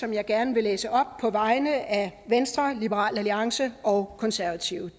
jeg gerne på vegne af venstre liberal alliance og konservative